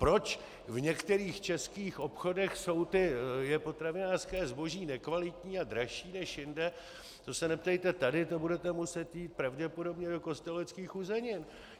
Proč v některých českých obchodech je potravinářské zboží nekvalitní a dražší než jinde, to se neptejte tady, to budete muset jít pravděpodobně do Kosteleckých uzenin.